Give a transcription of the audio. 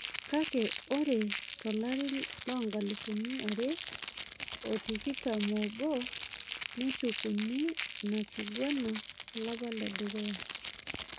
Kake ore tolari loonkalifuni are otikitam obo neshukuni ina king'uran olapa ledukuya